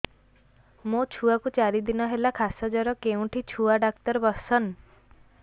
ମୋ ଛୁଆ କୁ ଚାରି ଦିନ ହେଲା ଖାସ ଜର କେଉଁଠି ଛୁଆ ଡାକ୍ତର ଵସ୍ଛନ୍